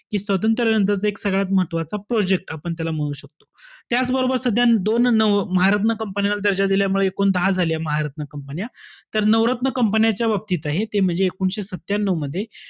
स्वातंत्र्यानंतरचा एक सगळ्यात महत्वाचा project आपण त्याला म्हणू शकतो. त्याच बरोबर सध्या दोन अं महारत्न company ला दर्जा दिल्यामुळे, एकूण दहा झाले महारत्न company. तर नवरत्न company च्या बाबतीत आहे, ते म्हणजे एकोणीशे सत्यान्यू मध्ये.